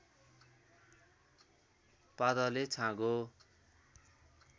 पातले छाँगो